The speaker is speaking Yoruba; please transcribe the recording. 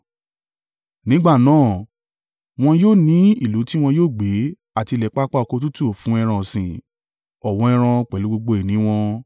Nígbà náà, wọn yóò ní ìlú tí wọn yóò gbé àti ilẹ̀ pápá oko tútù fún ẹran ọ̀sìn, ọ̀wọ́ ẹran pẹ̀lú gbogbo ìní wọn.